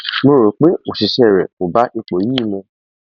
mo rò pé òṣìṣẹ rẹ kò bá ipò yìí mu